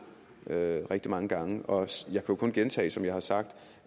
det rigtig mange gange og jeg kan kun gentage som jeg har sagt